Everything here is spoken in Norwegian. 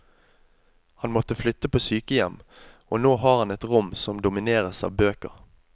Han måtte flytte på sykehjem, og nå har han et rom som domineres av bøker.